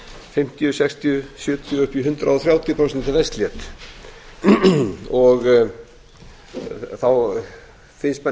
fimmtíu sextíu sjötíu og upp í hundrað og þrjátíu prósent þegar verst lét þá finnst manni